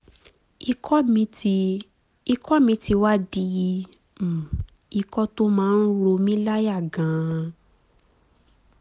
ikọ̀ mi ti ikọ̀ mi ti wá di um ikọ̀ tó máa ń ro mí um láyà gan-an